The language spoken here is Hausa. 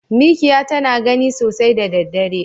Mikya tana gani sosai da daddare.